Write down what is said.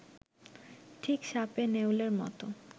ঠিক সাপে-নেউলের মতো